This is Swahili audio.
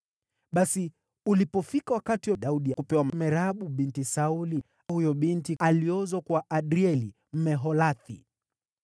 Basi ulipofika wakati wa Daudi kupewa Merabu, binti Sauli, huyo binti aliozwa kwa Adrieli, Mmeholathi.